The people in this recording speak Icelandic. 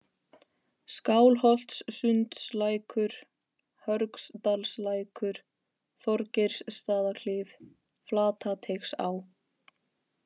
Skálholtssundslækur, Hörgsdalslækur, Þorgeirsstaðaklif, Flatateigsá